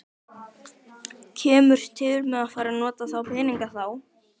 Kemur til með að fara að nota þá peninga þá?